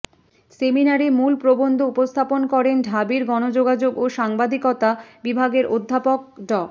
সেমিনারে মূল প্রবন্ধ উপস্থাপন করেন ঢাবির গণযোগাযোগ ও সাংবাদিকতা বিভাগের অধ্যাপক ড